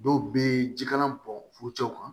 Dɔw bɛ jikalan bɔn furucɛw kan